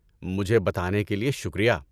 مجھے بتانے کے لیے شکریہ۔